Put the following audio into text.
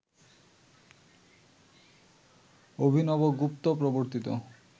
অভিনবগুপ্ত প্রবর্তিত